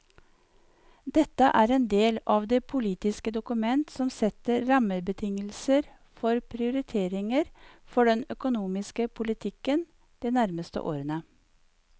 Dette er en del av et politisk dokument som setter rammebetingelser for prioriteringer for den økonomiske politikken de nærmeste årene.